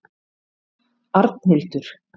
Arnhildur